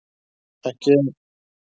Ekki HÆ!